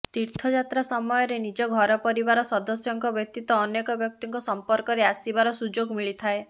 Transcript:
ତୀର୍ଥ ଯାତ୍ରା ସମୟରେ ନିଜ ଘର ପରିବାର ସଦସ୍ୟଙ୍କ ବ୍ୟତୀତ ଅନେକ ବ୍ୟକ୍ତିଙ୍କ ସମ୍ପର୍କରେ ଆସିବାର ସୁଯୋଗ ମିଳିଥାଏ